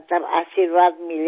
আপোনাৰ আশীৰ্বাদ পালে